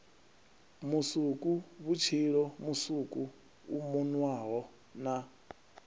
musukuvhutshilo musuku u munwaho na